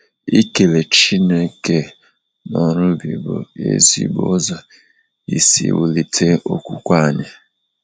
ikele Chineke n’ọrụ ubi bụ ezigbo ụzọ isi wulite okwukwe anyị.